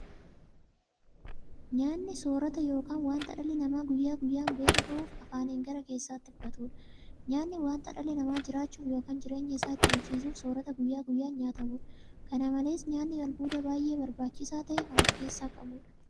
Nyaanni soorwta yookiin wanta dhalli namaa guyyaa guyyaan beela ba'uuf afaaniin gara keessaatti fudhatudha. Nyaanni wanta dhalli namaa jiraachuuf yookiin jireenya isaa itti fufsiisuuf soorata guyyaa guyyaan nyaatamudha. Kana malees nyaanni albuuda baay'ee barbaachisaa ta'e kan ofkeessaa qabudha.